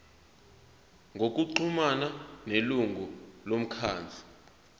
ngokuxhumana nelungu lomkhandlu